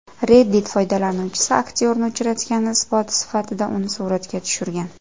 Reddit foydalanuvchisi aktyorni uchratgani isboti sifatida uni suratga tushirgan.